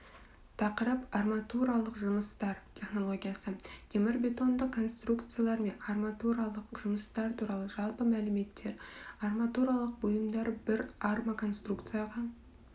тақырып арматуралық жұмыстар технологиясы темірбетондық конструкциялар мен арматуралық жұмыстар туралы жалпы мәліметтер арматуралық бұйымдар бір армоконструкцияға